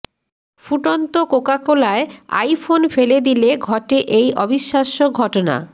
ফুটন্ত কোকাকোলায় iPhone ফেলে দিলে ঘটে এই অবিশ্বাস্য ঘটনা